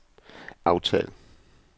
aftal